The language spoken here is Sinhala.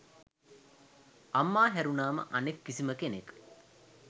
අම්මා හැරුණාම අනෙක් කිසිම කෙනෙක්